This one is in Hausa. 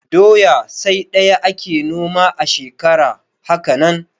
Doya sai ɗaya ake noma a shekara, haka nan